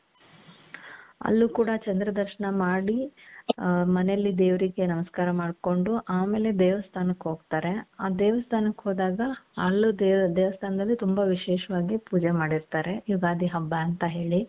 ಅಲ್ಲೂ ಕೂಡಾ ಚಂದ್ರ ದರ್ಶನ ಮಾಡಿ ಹ ಮನೇಲಿ ದೇವ್ರಿಗೆ ನಮಸ್ಕಾರ ಮಾಡ್ಕೊಂಡು ಆಮೇಲೆ ದೇವಸ್ಥಾನಕ್ಕೆ ಹೋಗ್ತಾರೆ ಆ ದೇವಸ್ಥಾನಕ್ಕೆ ಹೋದಾಗ ಅಲ್ಲಿ ದೇವಸ್ಥಾನದಲ್ಲಿ ತುಂಬಾ ವಿಶೇಷವಾಗಿ ಪೂಜೆ ಮಾಡಿರ್ತಾರೆ ಯುಗಾದಿ ಹಬ್ಬ ಅಂತ ಹೇಳಿ.